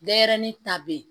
Denɲɛrɛnin ta bɛ ye